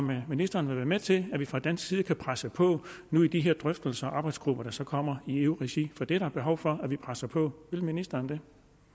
vil ministeren være med til at vi fra dansk side kan presse på nu i de her drøftelser og arbejdsgrupper der så kommer i eu regi for der er behov for at vi presser på vil ministeren det